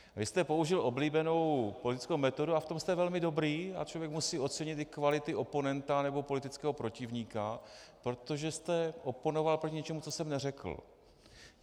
Vy jste použil oblíbenou politickou metodu a v tom jste velmi dobrý a člověk musí ocenit i kvality oponenta nebo politického protivníka, protože jste oponoval proti něčemu, co jsem neřekl.